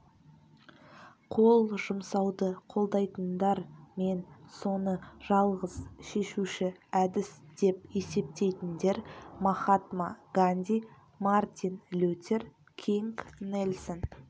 қол жұмсауды қолдайтындар мен соны жалғыз шешуші әдіс деп есептейтіндер махатма ганди мартин лютер кинг нельсон